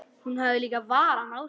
Hún hafði varann á sér.